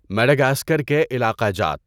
Madagascar کے علاقہ جات